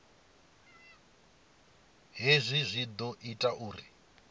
hezwi zwi ḓo ita uri